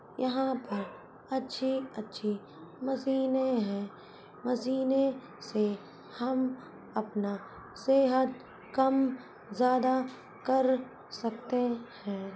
यहाँ पर अच्छी-अच्छी मशीनें हैं मशीनें से हम अपना सेहत कम ज्यादा कर सकते हैं।